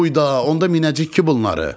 Uyda, onda minəcəyik ki, bunları.